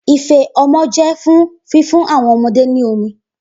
Ife ọmọ jẹ fun fifun awọn ọmọde ni omi